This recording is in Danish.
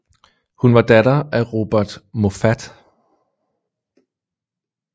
Hun var datter af Robert Moffat